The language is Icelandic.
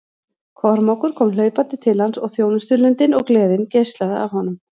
Kormákur kom hlaupandi til hans og þjónustulundin og gleðin geislaði af honum.